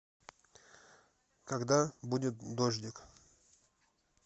когда будет дождик